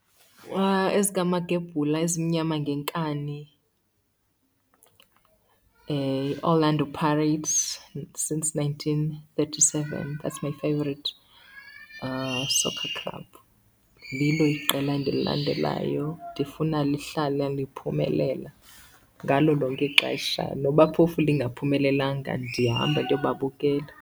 EzikaMagebhula, ezimnyama ngenkani, iOrlando Pirates since nineteen thirty seven, that's my favourite soccer club. Lilo iqela endililandelayo, ndifuna lihlale liphumelela ngalo lonke ixesha noba phofu lingaphumelelanga ndiyahamba ndiyobabukela.